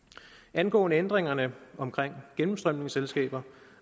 angående ændringerne omkring gennemstrømningsselskaber